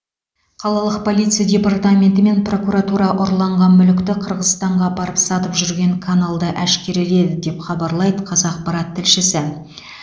қалалық полиция департаменті мен прокуратура ұрланған мүлікті қырғызстанға апарып сатып жүрген каналды әшкереледі деп хабарлайды қазақпарат тілшісі